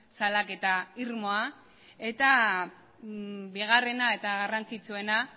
salaketa irmoa eta bigarrena eta garrantzitsuena